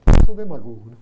Eu sou demagogo, né?